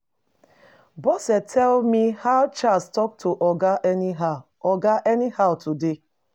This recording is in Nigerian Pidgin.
Bose tell me how Charles talk to Oga anyhow oga anyhow today.